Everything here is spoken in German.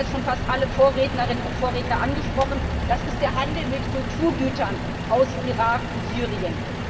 Das haben jetzt schon fast alle Vorrednerinnen und Vorredner angesprochen, das ist der Handel mit Kulturgütern aus dem Irak und Syrien.